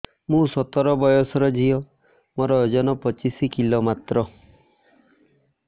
ମୁଁ ସତର ବୟସର ଝିଅ ମୋର ଓଜନ ପଚିଶି କିଲୋ ମାତ୍ର